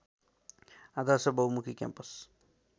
आदर्श बहुमुखी क्याम्पस